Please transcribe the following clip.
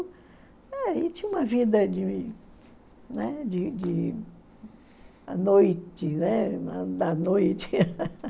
É, tinha uma vida de, né, de de... A noite, né? da noite